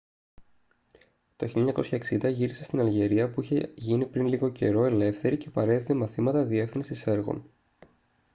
το 1960 γύρισε στην αλγερία που είχε γίνει πριν λίγο καιρό ελεύθερη και παρέδιδε μαθήματα διεύθυνσης έργων